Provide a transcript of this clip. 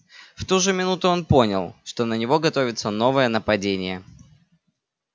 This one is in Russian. в ту же минуту он понял что на него готовится новое нападение